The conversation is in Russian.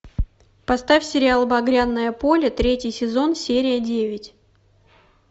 поставь сериал багряное поле третий сезон серия девять